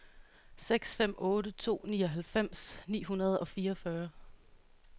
seks fem otte to nioghalvfems ni hundrede og fireogfyrre